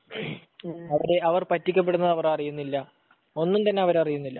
അവിടെ അവർ പറ്റിക്കപ്പെടുന്നത് അവർ അറിയുന്നില്ല. ഒന്നുംതന്നെ അവരറിയുന്നില്ല.